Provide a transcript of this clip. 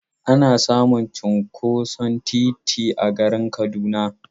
Ana samun cinkoson titi a garin Kaduna.